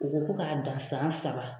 U ku ko ka dan san saba